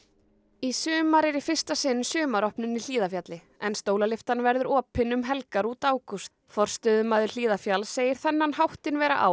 í sumar er í fyrsta sinn sumaropnun í Hlíðarfjalli en verður opin um helgar út ágúst forstöðumaður Hlíðarfjalls segir þennan háttinn vera á